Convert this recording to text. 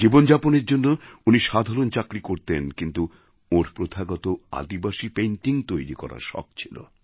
জীবনযাপনের জন্য উনি সাধারণ চাকরি করতেন কিন্তু ওঁর প্রথাগত আদিবাসী পেইন্টিং তৈরি করার শখ ছিল